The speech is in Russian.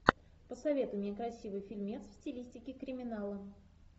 посоветуй мне красивый фильмец в стилистике криминала